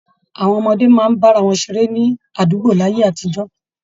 Àwọn ọmọdé máa ń bá ara wọn ṣeré ní àdùgbó láyé àtijọ́